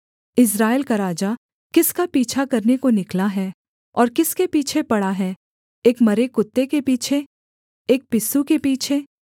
इस्राएल का राजा किसका पीछा करने को निकला है और किसके पीछे पड़ा है एक मरे कुत्ते के पीछे एक पिस्सू के पीछे